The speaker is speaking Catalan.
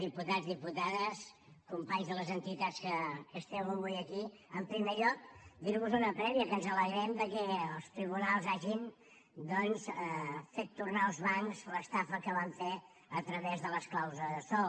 diputats diputades companys de les entitats que esteu avui aquí en primer lloc dir vos una prèvia que ens alegrem que els tribunals hagin doncs fet tornar als bancs l’estafa que van fer a través de les clàusules sòl